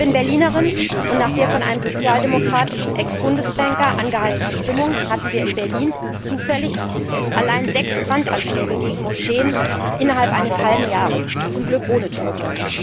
Ich bin Berlinerin, und nach der von einem sozialdemokratischen Ex Bundesbanker angeheizten Stimmung hatten wir allein in Berlin zufällig sechs Brandanschläge gegen Moscheen innerhalb eines halben Jahres, zum Glück ohne Tote.